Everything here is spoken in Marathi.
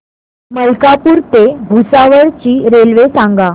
मलकापूर ते भुसावळ ची रेल्वे सांगा